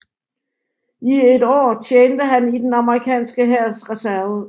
I et år tjente han i den amerikanske hærs reserve